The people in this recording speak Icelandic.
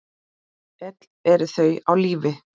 Öll eru þau á lífi.